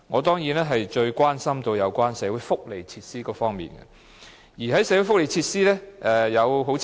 當然，我最關心的是有關社會福利設施方面的規劃和標準。